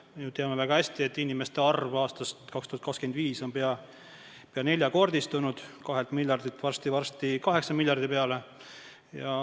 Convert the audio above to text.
Me teame ju väga hästi, et inimeste arv on aastaks 2025 peaaegu neljakordistunud, 2 miljardilt jõuab see varsti-varsti 8 miljardi peale.